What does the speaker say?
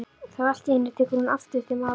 Þá allt í einu tekur hún aftur til máls